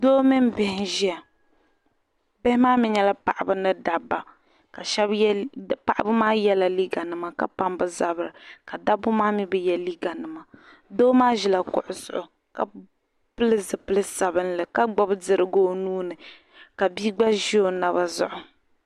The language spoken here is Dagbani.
Doo mini bihi n ʒiya bihi maa mi nyɛla paɣibi ni dabba paɣibi maa yela liiga nima ka pam bi zabiri dabi maa mi bi ye liiga nima doo maa ʒila kuɣu zuɣu , ka pili zipili sabinli, ka gbubi dirigu onuuni ka bii gba ʒi o naba zuɣu.